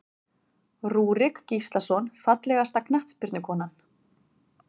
Rúrik Gíslason Fallegasta knattspyrnukonan?